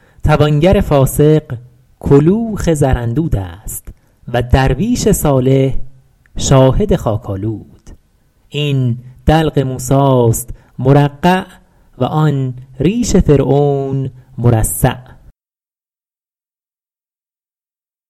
توانگر فاسق کلوخ زراندود است و درویش صالح شاهد خاک آلود این دلق موسی است مرقع و آن ریش فرعون مرصع